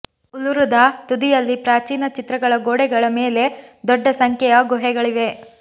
ಉಲುರುದ ತುದಿಯಲ್ಲಿ ಪ್ರಾಚೀನ ಚಿತ್ರಗಳ ಗೋಡೆಗಳ ಮೇಲೆ ದೊಡ್ಡ ಸಂಖ್ಯೆಯ ಗುಹೆಗಳಿವೆ